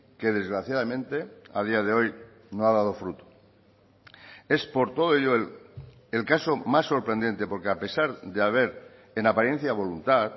que desgraciadamente a día de hoy no ha dado fruto es por todo ello el caso más sorprendente porque a pesar de haber en apariencia voluntad